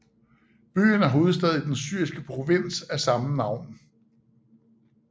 Byen er hovedby i den syriske provins af samme navn